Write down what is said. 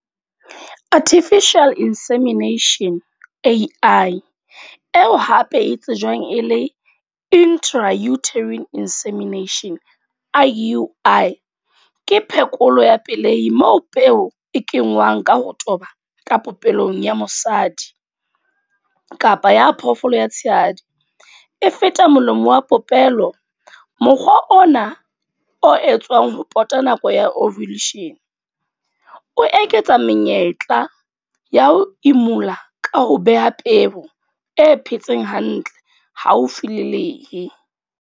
Artificial Insemintation A_I, eo hape e tsejwang e le Intrauterine Insemination I_U_I. Ke phekolo ya pelei moo peo e kengwang ka ho toba ka popelong ya mosadi, kapa ya phoofolo ya tshehadi e feta molomo wa popelo. Mokgwa ona o etswang ho pota nako ya ovulation, o eketsa menyetla ya ho imulla ka ho beha peo e phetseng hantle haufi le lehe.